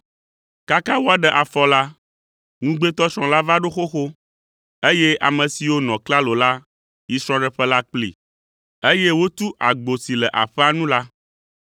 “Kaka woaɖe afɔ la, ŋugbetɔsrɔ̃ la va ɖo xoxo, eye ame siwo nɔ klalo la yi srɔ̃ɖeƒe la kplii, eye wotu agbo si le aƒea nu la.